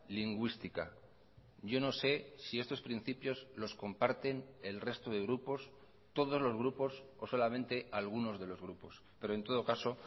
lingüística yo no sé si estos principios los comparten el resto de grupos todos los grupos o solamente algunos de los grupos pero en todo caso